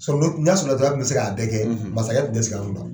N'a sɔrɔla dɔrɔn a tun bɛ se k'a bɛɛ kɛ, masakɛ tun tɛ sigi an kun tan